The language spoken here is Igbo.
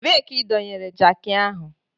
Ebee ka ị dọnyere jakị ahụ?